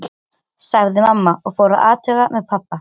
Þegar hún kom niður í fjöruna varð henni fótaskortur.